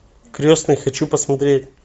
крестный хочу посмотреть